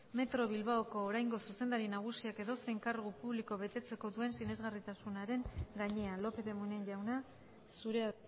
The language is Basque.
metro bilbaoko oraingo zuzendari nagusiak edozein kargu publiko betetzeko duen sinesgarritasunaren gainean lópez de munain jauna zurea